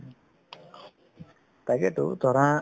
তাকেতো ধৰা